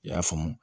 I y'a faamu